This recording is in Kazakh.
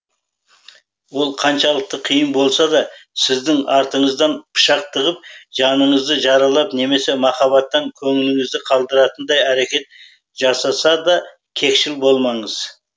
ол қаншалықты қиын болса да сіздің артыңыздан пышақ тығып жаныңызды жаралап немесе махаббаттан көңіліңізді қалдыратындай әрекет жасаса да кекшіл болмаңыз